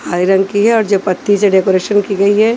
Iron की है और जो पत्ती से डेकोरेशन की गई है।